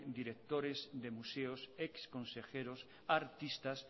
directores de museos exconsejeros artistas